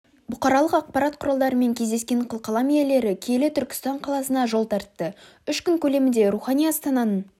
бұқаралық ақпарат құралдарымен кездескен қылқалам иелері киелі түркістан қаласына жол тартты үш күн көлемінде рухани астананың